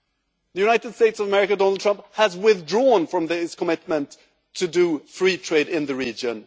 In the United States of America, Donald Trump has withdrawn from his commitment to do free trade in the region.